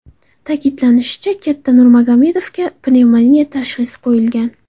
Ta’kidlanishicha, katta Nurmagomedovga pnevmoniya tashhisi qo‘yilgan.